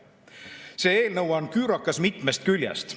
See eelnõu on küürakas mitmest küljest.